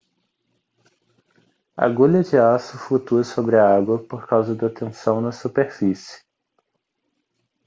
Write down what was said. a agulha de aço flutua sobre a água por causa da tensão na superfície